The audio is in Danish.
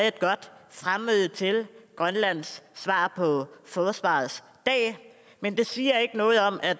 et godt fremmøde til grønlands svar på forsvarets dag men det siger ikke noget om at